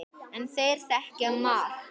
En þeir þekkja margt.